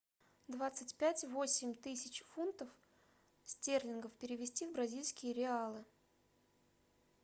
двадцать пять восемь тысяч фунтов стерлингов перевести в бразильские реалы